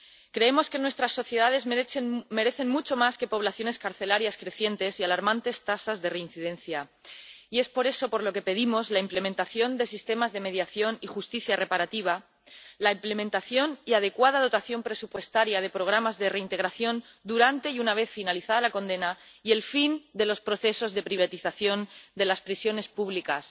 Creemos que nuestras sociedades merecen mucho más que poblaciones carcelarias crecientes y alarmantes tasas de reincidencia, y es por eso por lo que pedimos la implementación de sistemas de mediación y justicia reparativa, la implementación y adecuada dotación presupuestaria de programas de reintegración durante y después de la condena y el fin de los procesos de privatización de las prisiones públicas.